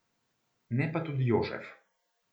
Ne pa tudi Jožef.